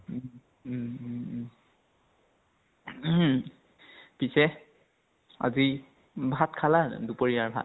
উম উম উম উম পিছে অভি ভাত খালা দুপৰীয়াৰ ভাত?